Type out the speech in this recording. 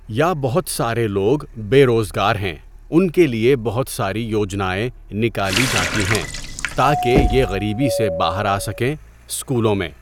یا بہت سارے لوگ بے روزگار ہیں ان کے لیے بہت ساری یوجنائیں نکالی جاتی ہیں تا کہ یہ غریبی سے باہر آ سکیں اسکولوں میں.